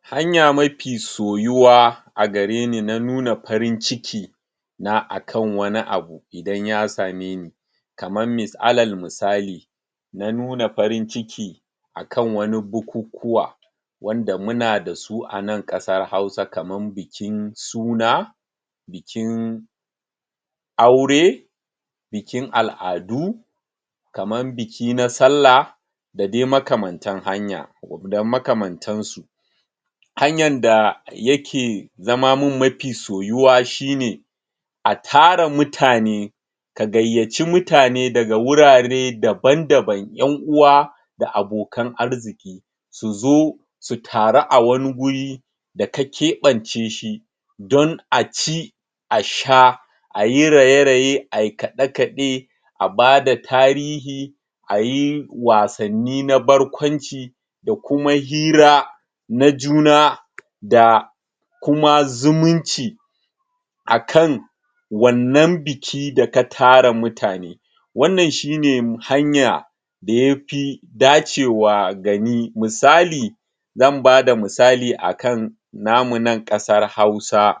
hanya mafi soyuwa agareni na nuna farin ciki na akan wani abu idan ya same ni kaman mis alal misali na nuna farin ciki akan wani bukukuwa wanda muna dasu anan ƙasar hausa kaman bikin suna, bikin aure, bikin al'adu kaman biki na sallah dadai makamantan hanya da makamantan su. hanyan da yake zama min mafi soyuwa shine a tara mutane ka gayyaci mutane daga wurare daban daban ƴan uwa da abokan arziƙi suzo su taru a wani guri da ka keɓabce shi don aci a sha ayi raye-raye a yi kaɗe-kaɗe a bada tarihi ayi wasanni na barkwanci da kuma hira na juna da kuma zumunci akan wannan biki da ka tara mutane wannan shine hanya da yafi dace wa ga ni misali zan bada misali akan namu nan ƙasar hausa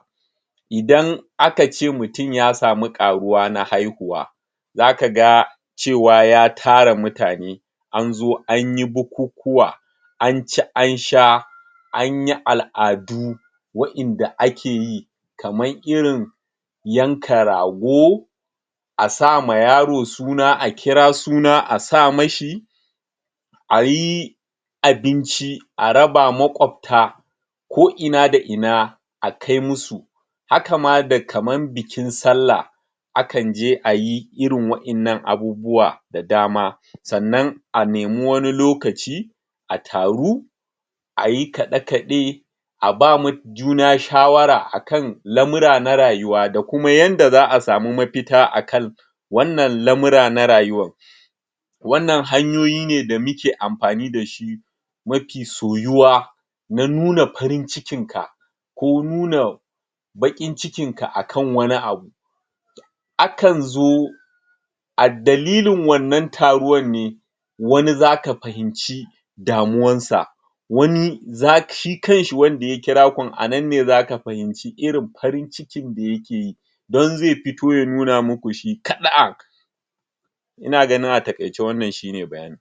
idan akace mutum ya samu ƙaruwa na haihuwa zakaga cewa ya tara mutane anzo anyi bukukuwa an ci an sha anyi al'adu wa'inda akeyi kaman irin yanka rago asama yaro suna a kira suna asa mashi ayi abinci a raba maƙwabta ko ina da ina akai musu hakama da kaman bikin sallah akanje ayi irin wa'innan abubuwa da dama sannan a nemi wani lokaci a taru ayi kaɗe-kaɗe aba juna shawara akan lamura na rayuwa da kuma yanda za'a samu mafita akan wanna lamura na rayuwan wannan hanyoyi ne da muke amfani dashi mafi soyuwa na nuna farin cikin ka ko nuna baƙin cikin ka akan wani abu akan zo a dalilin wannan taruwan ne wani zaka fahimci damuwan sa wani zak shi kanshi wanda ya kira kun anan ne zaka fahimci irin farin cikin da yake yi dan zai fito ya nuna maku shi kaɗa'an ina ganin a taƙaice wannan shine bayanin.